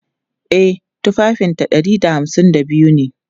E, tufafinta ɗari da hamsin da biyu ne.